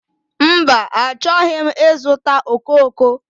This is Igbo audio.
Mba, achọghị m ịzụta okooko.